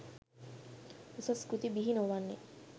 උසස් කෘති බිහි නොවෙන්න